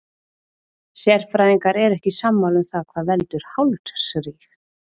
Sérfræðingar eru ekki sammála um það hvað veldur hálsríg.